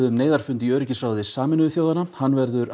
um neyðarfund í öryggisráði Sameinuðu þjóðanna hann verður